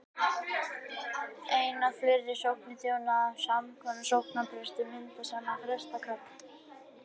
ein eða fleiri sóknir sem þjónað er af sama sóknarpresti mynda saman prestakall